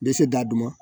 Bɛ se da dun